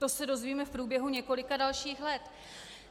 To se dozvíme v průběhu několika dalších let.